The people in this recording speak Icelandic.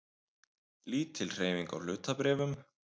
Lítil hreyfing á hlutabréfum